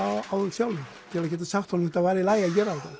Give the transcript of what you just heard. á þeim sjálfum til að geta sagt honum að það væri í lagi að gera